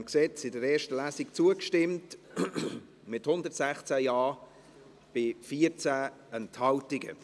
Sie haben diesem Gesetz in der ersten Lesung zugestimmt, mit 116 Ja-Stimmen bei 14 Enthaltungen.